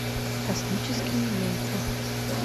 космические яйца